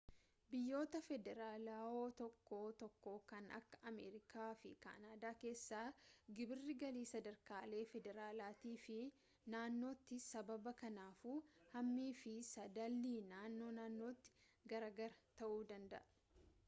biyyoota federaalaawoo tokko tokko kan akka ameerikaa fi kaanaadaa keessa gibirri galii sadarkaalee federaalaatii fi naannootti sassaabama kanaafuu hammii fi sadaallii naannoo naannootti garaa gara ta'uu danda'u